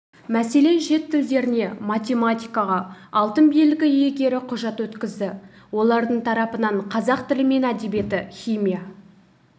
мәселен шет тілдеріне математикаға алтын белгі иегері құжат өткізді олардың тарапынан қазақ тілі мен әдебиеті химия